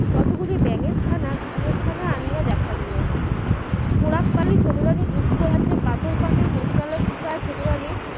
কত গুলি ব্যাঙের ছানা ইঁদুর ছানা আনিয়া দেখাইলো পোড়াকপালি ছোট রানীর দুঃখ আছে পাথর ফাটে নদী নালা শুকায় ছোটরানির